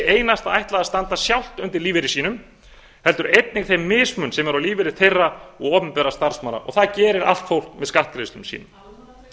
einasta ætlað að standa sjálft undir lífeyri sínum heldur einnig þeim mismun sem er á lífeyri þeirra og opinberra starfsmanna og það gerir allt fólk með skattgreiðslum sínum